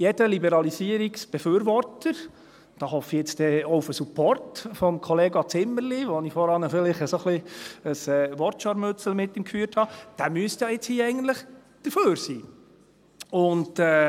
Jeder Liberalisierungsbefürworter – da hoffe ich dann auch auf den Support von Kollega Zimmerli, mit dem ich vorhin vielleicht ein wenig ein Wortscharmützel führte –, müsste ja jetzt eigentlich hier dafür sein.